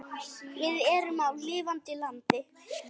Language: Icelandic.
Við erum á lifandi landi.